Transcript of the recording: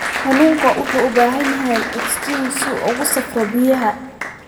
Kalluunku wuxuu u baahan yahay ogsijiin si uu ugu safro biyaha.